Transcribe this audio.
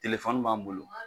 Telefɔni b'an bolo